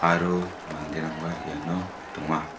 aro manderangba iano donga.